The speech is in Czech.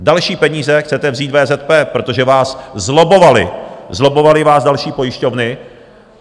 Další peníze chcete vzít VZP, protože vás zlobbovaly, zlobbovaly vás další pojišťovny.